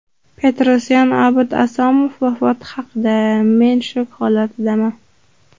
Petrosyan Obid Asomov vafoti haqida: Men shok holatidaman.